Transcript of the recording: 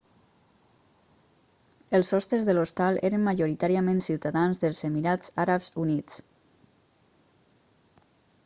els hostes de l'hostal eren majoritàriament ciutadans dels emirats àrabs units